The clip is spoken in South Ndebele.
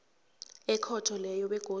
ekhotho leyo begodu